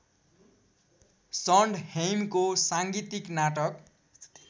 सन्डहेइमको साङ्गीतिक नाटक